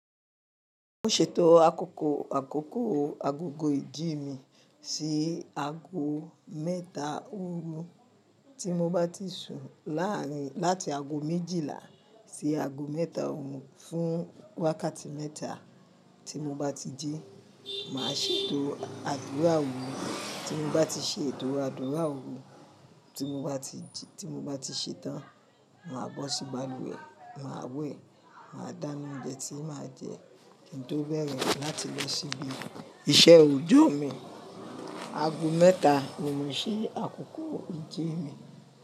Mo ṣètò àkókò àkókò agogo ìjí mi sí aago mẹ́ta òru. Tí mo bá ti sùn láàárin láti aago méjìlá sí aago mẹ́ta òru fún wákàtí mẹ́ta, tí mo bá ti jí, màá ṣètò àdúrà òru. Tí mo bá ti ṣe ètò àdúrà òru, tí mo bá ti jí, tí mo bá ti ṣetán, màá bọ́ sí balùwẹ̀, màá wé, màá dáná oúnjẹ tí màá jẹ kí n tó bẹ̀rẹ̀ láti lọ síbí iṣẹ́ òjò mi. Aago mẹ́ta oùn mose àkókò ìjí mi.